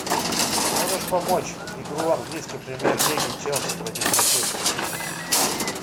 можешь помочь игру английской премьер лиги челси против манчестер сити